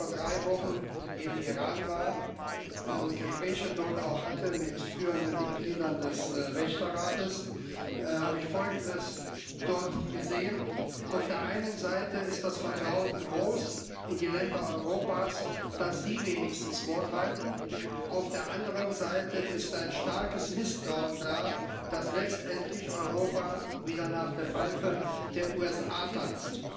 Als ich vor drei Wochen im Iran war und dort auch Gespräche mit führenden Mitgliedern des Wächterrates hatte, habe ich dort Folgendes gesehen Auf der einen Seite ist das Vertrauen in die Länder Europas groß, dass sie wenigstens Wort halten, auf der anderen Seite ist ein starkes Misstrauen da, dass letztendlich Europa wieder nach der Pfeife der USA tanzt.